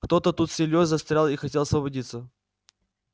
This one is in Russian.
кто-то тут с ильёй застрял и хотел освободиться